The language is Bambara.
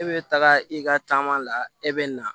E bɛ taga i ka taama la e bɛ na